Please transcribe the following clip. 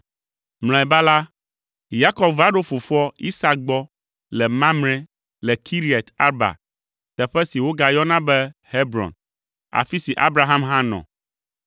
Mlɔeba la, Yakob va ɖo fofoa, Isak gbɔ le Mamre le Kiriat Arba (teƒe si wogayɔna be Hebron), afi si Abraham hã nɔ.